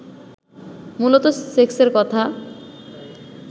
মূলত সেক্সের কথা